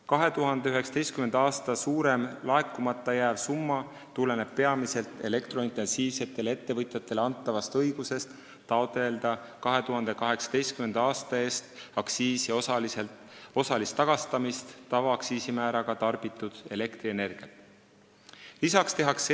2019. aasta suurem summa tuleneb peamiselt elektrointensiivsetele ettevõtjatele antavast õigusest taotleda 2018. aastal tavaaktsiisimääraga tarbitud elektrienergialt aktsiisi osalist tagastamist.